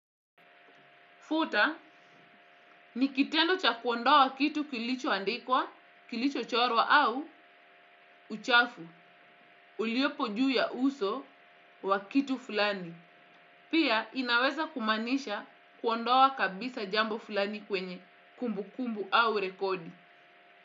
Futa, nikitendo cha kuondoa kitu kilicho andikwa, kilicho chorwa au uchafu, uliopo juu ya uso wakitu fulani. Pia, inaweza kumaanisha kuondawa kabisa jambo fulani kwenye kumbu kumbu au rekodi.